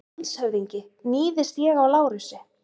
LANDSHÖFÐINGI: Níðist ég á Lárusi?